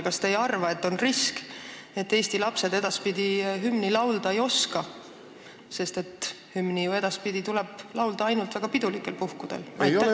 Kas te ei arva, et on risk, et Eesti lapsed varsti hümni laulda ei oska, sest hümni tuleb ju edaspidi ainult väga pidulikel puhkudel laulda?